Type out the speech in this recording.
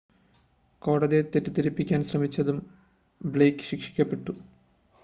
കോടതിയെ തെറ്റിദ്ധരിപ്പിക്കാൻ ശ്രമിച്ചതിനും ബ്ലെയ്ക്ക് ശിക്ഷിക്കപ്പെട്ടു